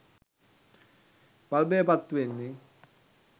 බල්බය පත්තුවෙන්නේ